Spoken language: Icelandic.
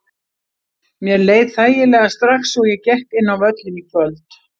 Mér leið þægilega strax og ég gekk inn á völlinn í kvöld.